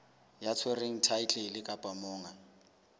ya tshwereng thaetlele kapa monga